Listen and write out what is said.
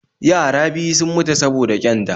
Yara biyu sun mutu saboda ƙyanda